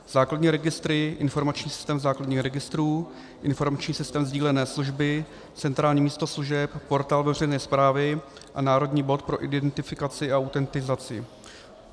Základní registry, informační systém základních registrů, informační systém sdílené služby, centrální místo služeb, portál veřejné správy a národní bod pro identifikaci a autentizaci.